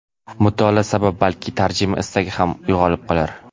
Mutolaa sabab balki tarjima istagi ham uyg‘onib qolar.